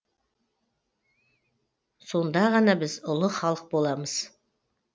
сонда ғана біз ұлы халық боламыз